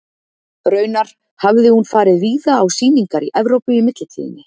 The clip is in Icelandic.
Raunar hafði hún farið víða á sýningar í Evrópu í millitíðinni.